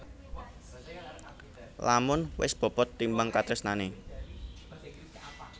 Lamun wis bobot timbang katresnane